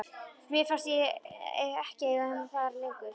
Mér fannst ég ekki eiga heima þar lengur.